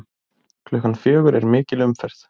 Klukkan fjögur er mikil umferð.